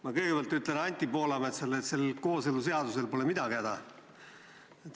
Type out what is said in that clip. Ma kõigepealt ütlen Anti Poolametsale, et kooseluseadusel pole midagi häda.